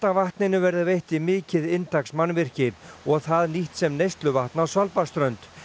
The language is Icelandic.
vatninu verður veitt í mikið inntaksmannvirki og það nýtt sem neysluvatn á Svalbarðsströnd